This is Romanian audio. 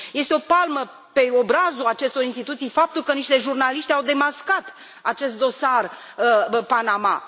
Este o palmă pe obrazul acestor instituții faptul că niște jurnaliști au demascat acest dosar Panama.